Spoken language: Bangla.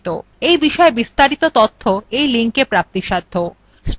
এই বিষয় বিস্তারিত তথ্য এই লিঙ্কএ প্রাপ্তিসাধ্য